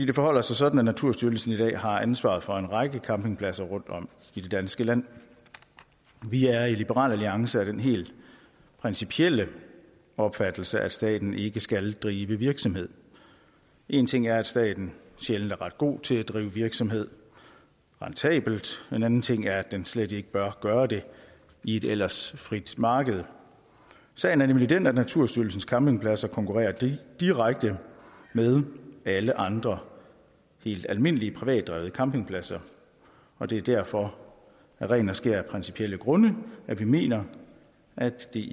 det forholder sig sådan at naturstyrelsen i dag har ansvaret for en række campingpladser rundtom i det danske land vi er i liberal alliance af den helt principielle opfattelse at staten ikke skal drive virksomhed én ting er at staten sjældent er ret god til at drive virksomhed rentabelt en anden ting er at den slet ikke bør gøre det i et ellers frit marked sagen er nemlig den at naturstyrelsens campingpladser konkurrerer direkte med alle andre helt almindelige privatdrevne campingpladser og det er derfor af ren og skær principielle grunde at vi mener at det